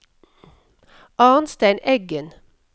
Arnstein Eggen